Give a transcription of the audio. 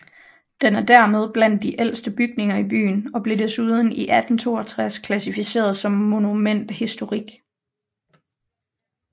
Den er dermed blandt de ældste bygninger i byen og blev desuden i 1862 klassificeret som monument historique